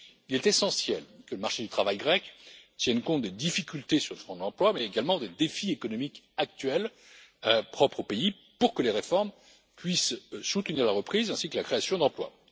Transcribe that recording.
Il est essentiel que le marché du travail grec tienne compte des difficultés sur le front de l'emploi, mais également des défis économiques actuels propres au pays pour que les réformes puissent soutenir la reprise ainsi que la création d'emplois.